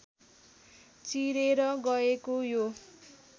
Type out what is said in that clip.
चिरेर गएको यो